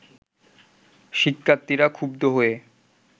শিক্ষার্থীরা ক্ষুব্ধ হয়ে